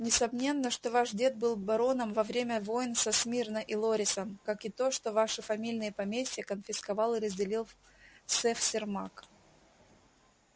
несомненно что ваш дед был бароном во время войн со смирно и лорисом как и то что ваши фамильные поместья конфисковал и разделил сэф сермак